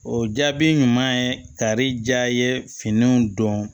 O jaabi ɲuman ye kari diya ye finiw don